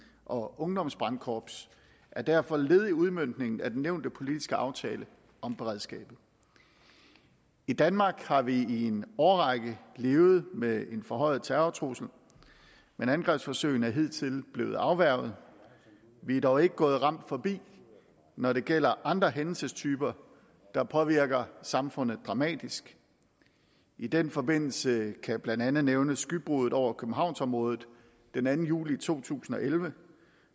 og ungdomsbrandkorps er derfor led i udmøntningen af den nævnte politiske aftale om beredskabet i danmark har vi i en årrække levet med en forhøjet terrortrussel men angrebsforsøgene er hidtil blevet afværget vi er dog ikke gået ramt forbi når det gælder andre hændelsestyper der påvirker samfundet dramatisk i den forbindelse kan jeg blandt andet nævne skybruddet over københavnsområdet den anden juli to tusind og elleve